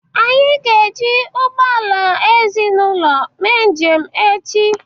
Anyị ga eji ụgbọala ezinaụlọ mee njem echi